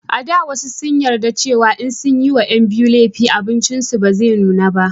a da wasu sun yarda cewa in sun ma 'yan biyu lefi abincin su ba zai nuna ba